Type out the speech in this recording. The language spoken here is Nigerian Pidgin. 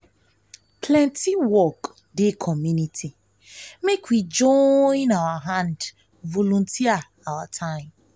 plenty work dey community make we join hand volunteer our time.